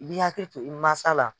I b'i hakili to i masa la.